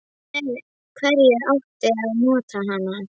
Og með hverju átti að nota hana?